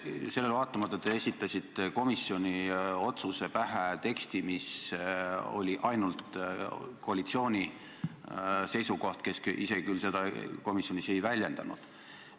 Sellele vaatamata te esitasite komisjoni otsuse pähe teksti, mis oli ainult koalitsiooni seisukoht, kes küll ise seda komisjonis ei väljendanud.